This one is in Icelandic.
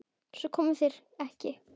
Svo komu þeir ekki.